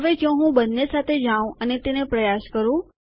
હવે જો હું બંને સાથે જાઉં અને તેને પ્રયાસ કરું